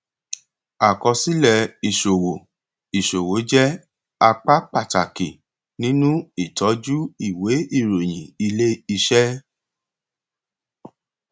àkọsílẹ ìṣòwò ìṣòwò jẹ apá pàtàkì nínú ìtọjú ìwé ìròyìn iléiṣẹ